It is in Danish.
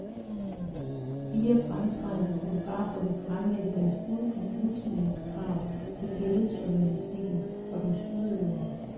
Fire fremtrædende fotografer vil fremlægge deres bud på nutidens krav til billedjournalistikken og dens udøvere.